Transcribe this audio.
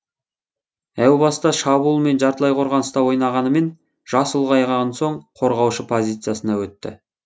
әу баста шабуыл мен жартылай қорғаныста ойнағанымен жасы ұлғайған соң қорғаушы позициясына өтті